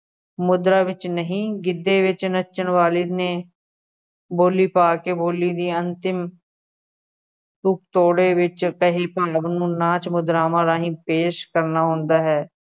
ਮੁਦਰਾ ਵਿੱਚ ਨਹੀਂ, ਗਿੱਧੇ ਵਿੱਚ ਨੱਚਣ ਵਾਲੇ ਨੇ ਬੋਲੀ ਪਾ ਕੇ ਬੋਲੀ ਦੀ ਅੰਤਿਮ ਵਿੱਚ ਕਹੀ ਭੰਗ ਨੂੰ ਨਾਚ ਮੁਦਰਾਵਾਂ ਰਾਹੀਂ ਪੇਸ਼ ਕਰਨਾ ਹੁੰਦਾ ਹੈ।